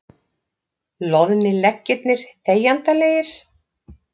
Loðnir leggirnir þegjandalegir.